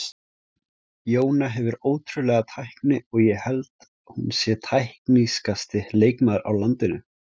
Jóna hefur ótrúlega tækni og ég held hún sé teknískasti leikmaður á landinu.